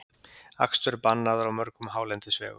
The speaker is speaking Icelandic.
Akstur bannaður á mörgum hálendisvegum